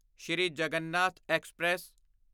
Sri Jagannath express